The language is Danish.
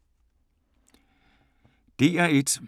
DR1